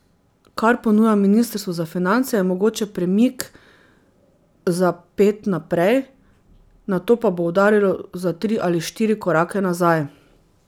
Kar ponuja ministrstvo za finance, je mogoče premik za ped naprej, nato pa bo udarilo za tri ali štiri korake nazaj.